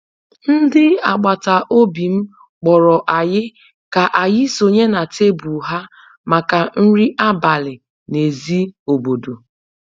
ndị agbata obi m kpọrọ anyị ka anyị sonye na tebụl ha maka nri abalị n'èzí obodo